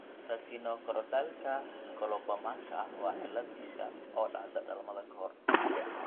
Retinochoroidalka colobomaka waa cillad isha oo dhacda dhalmada ka hor.